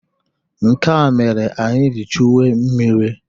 Nke a mere anyị ji chuwe mmiri.